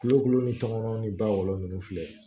Kulokolo ni tɔmɔnɔ ni ba wolo nunnu filɛ